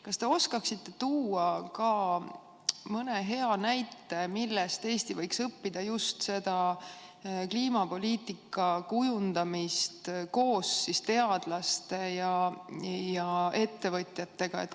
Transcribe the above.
Kas te oskate tuua ka mõne hea näite, millest Eesti võiks õppida kliimapoliitika kujundamist koos teadlaste ja ettevõtjatega?